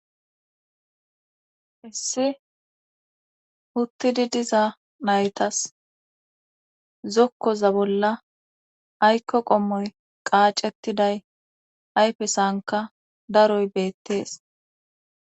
issi uttidi diza naytas zokkoza bolla aykko qommoy qaacettiday ayfe sanka daroy beettees